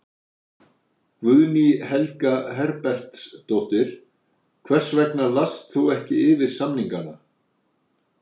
Guðný Helga Herbertsdóttir: Hvers vegna last þú ekki yfir samningana?